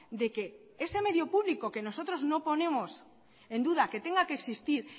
de que ese medio público que nosotros no ponemos en duda que tenga que existir